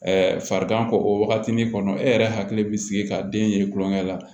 farigan kɔ o wagatini kɔnɔ e yɛrɛ hakili bɛ sigi ka den ye tulonkɛ la